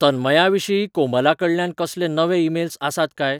तन्मयाविशीं कोमलाकडल्यान कसले नवे ईमेल्स आसात काय?